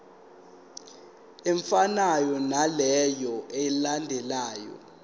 efanayo naleyo eyalandelwa